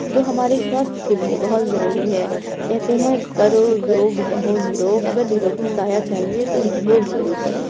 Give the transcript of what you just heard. जो हमारे स्वास्थ्य के लिए बहोत जरुरी है। कहते हैं करो योग रहो निरोग। अगर निरोगी काया चहिए तो योग जरुर करें।